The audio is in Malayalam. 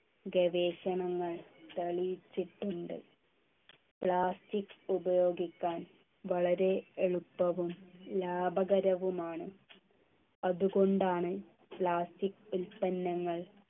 ഗവേഷണങ്ങൾ തെളിയിച്ചിട്ടുണ്ട് plastic ഉപയോഗിക്കാൻ വളരെ എളുപ്പവും ലാഭകരവും ആണ് അതുകൊണ്ടാണ് plastic ഉൽപ്പന്നങ്ങൾ